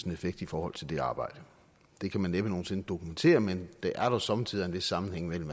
effekt i forhold til det arbejde det kan man næppe nogen sinde dokumentere men der er somme tider en vis sammenhæng i